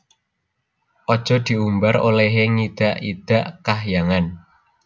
Aja diumbar olehe ngidak idak Kahyangan